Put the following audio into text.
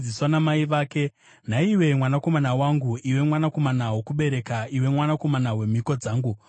“Nhaiwe mwanakomana wangu, iwe mwanakomana wokubereka, iwe mwanakomana wemhiko dzangu,